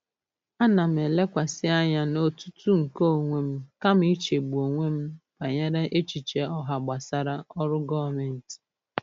Ana m elekwasị anya n'otutu nke onwe m kama ichegbu onwe m banyere echiche ọha gbasara ọrụ gọọmentị.